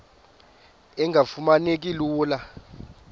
engafuma neki lula